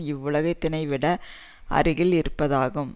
இவ்வுலகத்தினைவிட அருகில் இருப்பதாகும்